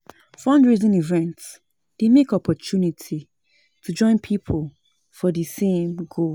Fundraising events dey mek opportunity to join pipo for di same goal.